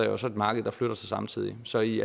jo så et marked der flytter sig samtidig så i